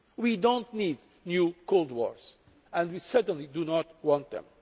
We do not need new cold wars, and we certainly do not want